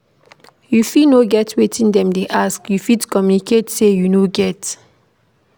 If you no get wetin dem dey ask, you fit communicate sey you no get